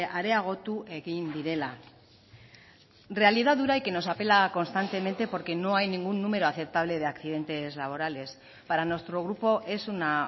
areagotu egin direla realidad dura y que nos apela constantemente porque no hay ningún número aceptable de accidentes laborales para nuestro grupo es una